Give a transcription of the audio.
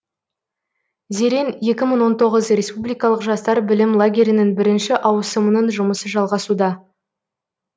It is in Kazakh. зерен екі мың он тоғыз республикалық жастар білім лагерінің бірінші ауысымының жұмысы жалғасуда